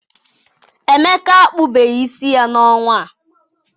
Emeka akpụbeghị isi ya n'ọnwa a.